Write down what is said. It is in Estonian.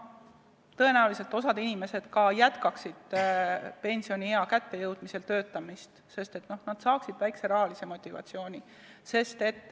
Tõenäoliselt jätkaks osa inimesi ka pensioniea kättejõudmisel töötamist, sest nad saaksid väikese rahalise motivatsiooni.